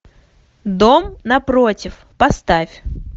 дом напротив поставь